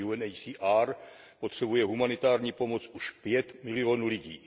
Podle UNHCR potřebuje humanitární pomoc už pět milionů lidí.